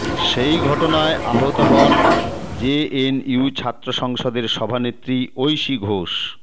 সেই ঘটনায় আহত হন জেএনইউ ছাত্র সংসদের সভানেত্রী ঐশী ঘোষ